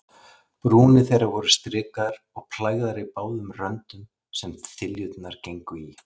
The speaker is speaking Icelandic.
Brúnir þeirra voru strikaðar og plægðar í báðum röndum, sem þiljurnar gengu í.